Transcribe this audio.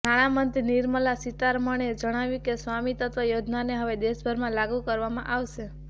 નાણા મંત્રી નિર્મલા સીતારમણે જણાવ્યું કે સ્વામિત્વ યોજનાને હવે દેશભરમાં લાગુ કરવામાં આવશે